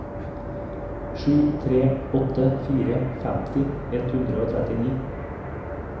sju tre åtte fire femti ett hundre og trettini